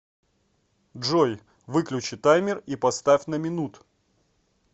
джой выключи таймер и поставь на минут